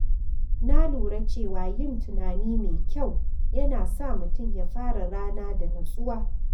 Na lura cewa yin tunani mai kyau yana sa mutum ya fara rana da nutsuwa.